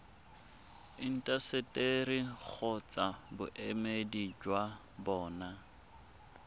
intaseteri kgotsa boemedi jwa bona